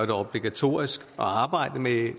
det obligatorisk at arbejde